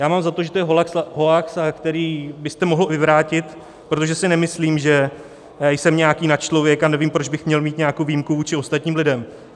Já mám za to, že to je hoax, který byste mohl vyvrátit, protože si nemyslím, že jsem nějaký nadčlověk, a nevím, proč bych měl mít nějakou výjimku vůči ostatním lidem.